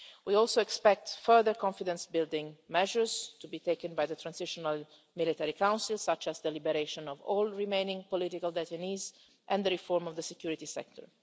We also expect further confidence building measures to be taken by the transitional military council, such as the liberation of all remaining political detainees and the reform of the security sector.